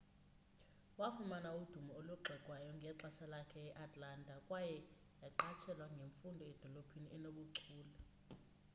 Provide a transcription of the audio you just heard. wafumana udumo olugxekwayo ngexesha lakhe e-atlanta kwaye yaqatshelwa ngemfundo edolophini enobuchule